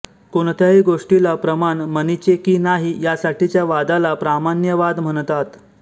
कोणत्याही गोष्टीला प्रमाण मनीचे कि नाही यासाठीच्या वादाला प्रामाण्यवाद म्हणतात